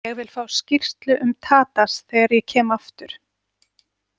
Ég vil fá skýrslu um Tadas þegar ég kem aftur.